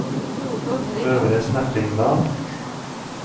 Øvre Snertingdal